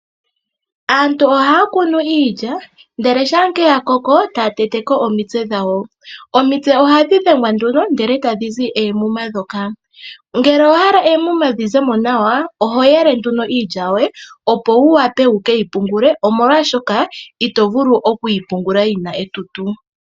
Aantu ohaya kunu iilya ndele shampa ya koko etaya tete ko omitse dhawo. Omitse ohadhi dhengwa nduno ndele etadhi zi oomuma ndhoka. Ngele owahala eemuma dhi zemo nawa oho yele iilya yoye , opo wu wape wukeyi pungule, omolwaashoka itovulu okuyi pungula yina etutu.